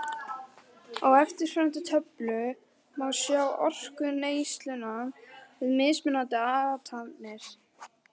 Á eftirfarandi töflu má sjá orkuneysluna við mismunandi athafnir.